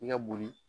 I ka boli